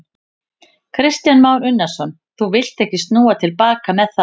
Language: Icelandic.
Kristján Már Unnarsson: Þú villt ekki snúa til baka með það?